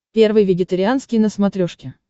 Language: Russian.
первый вегетарианский на смотрешке